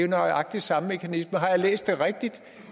nøjagtig samme mekanisme har jeg læst det rigtigt